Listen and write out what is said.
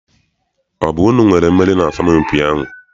Ọ bụ unu nwere mmeri n'asọmpi ahụ?